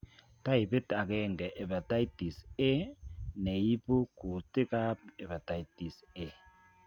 Taipit ageng'e hepatitis A,neibuu kutik ab hepatitis A